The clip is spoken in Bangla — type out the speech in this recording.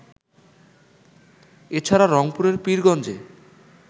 এছাড়া, রংপুরের পীরগঞ্জে